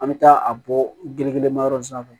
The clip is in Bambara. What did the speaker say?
An bɛ taa a bɔ gere ma yɔrɔ in sanfɛ